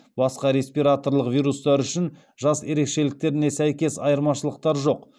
басқа респираторлық вирустар үшін жас ерекшеліктеріне сәйкес айырмашылықтар жоқ